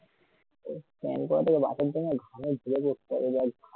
ঘামে ভিজে যাচ্ছেএকদম বল